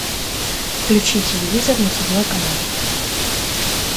включи телевизор на седьмой канал